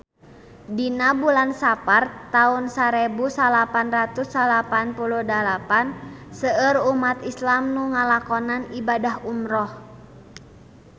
Dina bulan Sapar taun sarebu salapan ratus salapan puluh dalapan seueur umat islam nu ngalakonan ibadah umrah